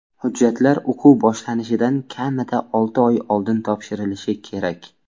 Hujjatlar o‘quv boshlanishidan kamida olti oy oldin topshirilishi kerak.